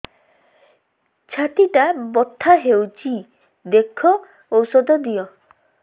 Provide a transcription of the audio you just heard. ଛାତି ଟା ବଥା ହଉଚି ଦେଖ ଔଷଧ ଦିଅ